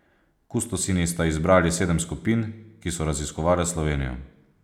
Kustosinji sta izbrali sedem skupin, ki so raziskovale Slovenijo.